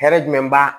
Hɛrɛ jumɛn b'a